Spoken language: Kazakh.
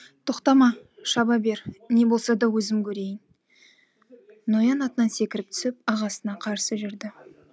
тоқтама шаба бер не болса да өзім көрейін ноян атынан секіріп түсіп ағасына қарсы жүрді